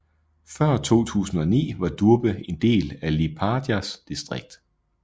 Før 2009 var Durbe en del af Liepājas distrikt